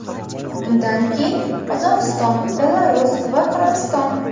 Undan keyin Qozog‘iston, Belarus va Qirg‘iziston.